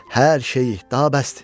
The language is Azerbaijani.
Hər şeyi, daha bəsdir.